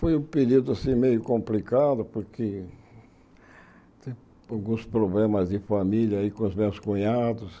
Foi um período assim meio complicado porque tem alguns problemas de família aí com os meus cunhados.